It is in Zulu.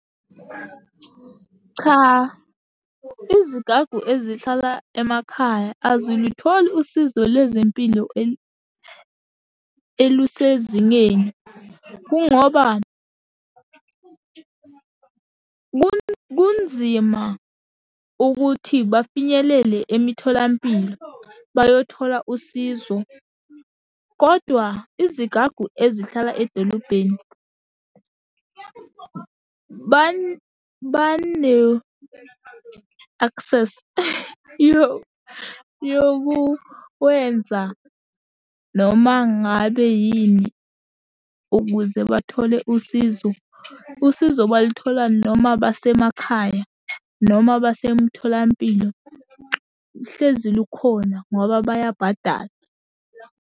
Cha, izigagu ezihlala emakhaya azilitholi usizo lezempilo elusezingeni, kungoba kunzima ukuthi bafinyelele emitholampilo bayothola usizo, kodwa izigagu ezihlala edolobheni, bano-access, yokuwenza noma ngabe yini ukuze bathole usizo. Usizo balithola noma basemakhaya noma basemtholampilo, hlezi lukhona ngoba bayabhadala.